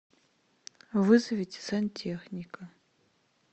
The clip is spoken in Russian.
вызовите сантехника